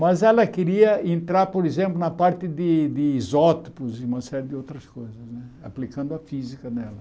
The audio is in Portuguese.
Mas ela queria entrar, por exemplo, na parte de de isótopos e uma série de outras coisas né, aplicando a física nela.